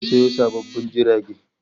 Gwamnati zata sayo sabbin jirage